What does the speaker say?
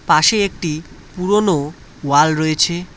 পাশেই একটি পুরোনো ওয়াল রয়েছে।